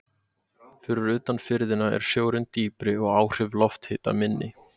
Fyrir utan firðina er sjórinn dýpri og áhrif lofthita minni.